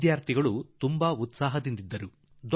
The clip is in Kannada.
ಆ ಹುಡುಗ ಹುಡುಗಿಯರ ಉತ್ಸಾಹ ನೋಡುವಂತದ್ದಾಗಿತ್ತು